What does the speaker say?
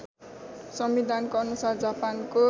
संविधानको अनुसार जापानको